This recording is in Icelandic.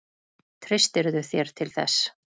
Treystirðu þér til þess?